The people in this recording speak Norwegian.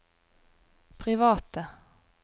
private